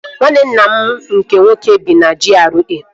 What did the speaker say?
Nwanne nna m nke nwoke bi na GRA